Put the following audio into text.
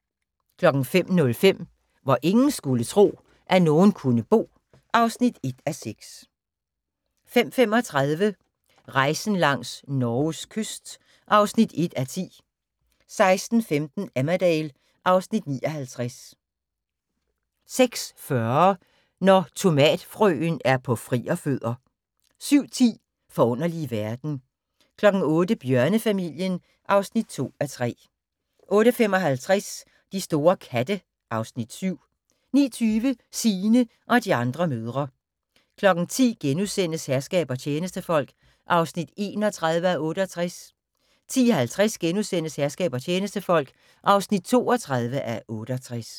05:05: Hvor ingen skulle tro, at nogen kunne bo (1:6) 05:35: Rejsen langs Norges kyst (1:10) 06:15: Emmerdale (Afs. 59) 06:40: Når tomatfrøen er på frierfødder 07:10: Forunderlige verden 08:00: Bjørnefamilien (2:3) 08:55: De store katte (Afs. 7) 09:20: Signe og de andre mødre 10:00: Herskab og tjenestefolk (31:68)* 10:50: Herskab og tjenestefolk (32:68)*